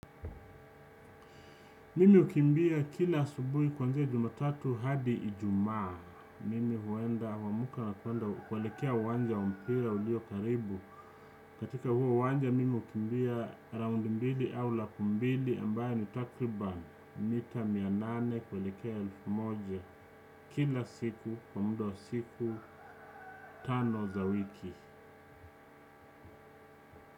Mimi hukimbia kila asubuhi kwanzia jumatatu hadi ijumaa, mimi huenda huamka na kuelekea uwanja wa mpira ulio karibu, katika huo uwanja mimi hukimbia raundi mbili au laku mbili ambaye ni takriban mita mia nane kuelekea elfu moja kila siku kwa muda wa siku tano za wiki.